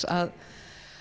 að